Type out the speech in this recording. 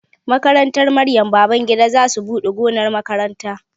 Makarantar Maryam Babangida za su buɗe gonar makaranta